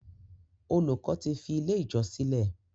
Olùkó tí fí ilẹ̀ ijọ sílè.